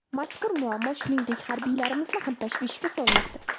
Mazkur muammo, shuningdek, harbiylarimizni ham tashvishga solmoqda.